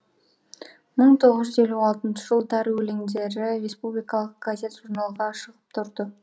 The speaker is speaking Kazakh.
мың тоғыз жүз елу алтыншы жылдары өлеңдері республикалық газет журналға шығып тұрды